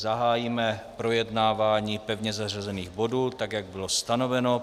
Zahájíme projednávání pevně zařazených bodů tak, jak bylo stanoveno.